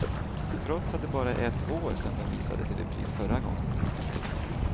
Trots att det bara är ett år sedan den visades i repris förra gången.